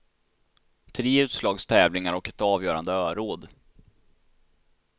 Tre utslagstävlingar och ett avgörande öråd.